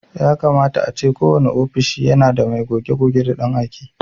Yakama ace kowane ofishi yana da mai goge-goge da ɗan aike.